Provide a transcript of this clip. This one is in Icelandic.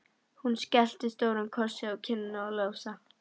Hún skellti stórum kossi á kinnina á Lása.